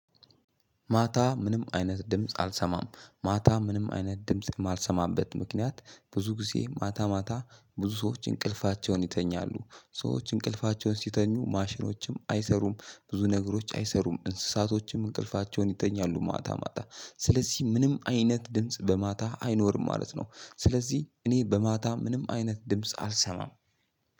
ማታ ምንም አይነት ድምጽ አልሰማም። ማታ ምንም አይነት ድምጽ የማልሰማበት ምክንያት ብዙ ጊዜ ማታ ማታ ብዙ ሰዎች እንቅልፋቸውን ይተኛሉ። ሰዎች እንቅልፋቸውን ሲተኙ ማሽኖችም አይሰሩም። ብዙ ነገሮች አይሰሩም። እንስሳቶችም እንቅልፋቸውን ይተኛሉ ማታ ማታ ስለዚህ ምንም አይነት ድምጽ በማታ አይኖርም ማለት ነው ስለዚህ እኔ በማታ ምንም አይነት ድምጽ አልሰማም።